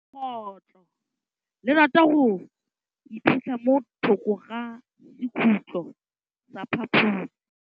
Legôtlô le rata go iphitlha mo thokô ga sekhutlo sa phaposi.